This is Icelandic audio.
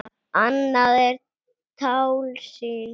Annað er tálsýn.